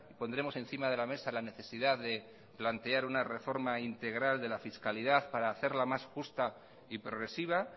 pondremos encima de la mesa la necesidad de plantear una reforma integral de la fiscalidad para hacerla más justa y progresiva